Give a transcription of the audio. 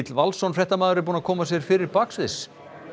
Valsson fréttamaður búinn að koma sér fyrir baksviðs